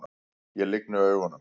Ég lygni augunum.